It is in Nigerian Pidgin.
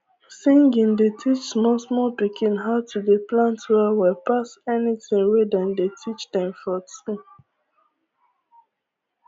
singing dey teach small small pikin how to dey plant well well pass any tin wey dem dey teach dem for school